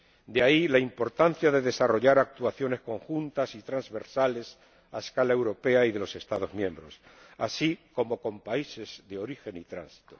De ahí la importancia de desarrollar actuaciones conjuntas y transversales a escala europea y de los Estados miembros, así como con países de origen y tránsito.